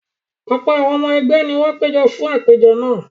Ọ̀pọ̀ àwọn ọmọ ẹgbẹ́ ni wọ́n péjọ fún àpèjọ náà.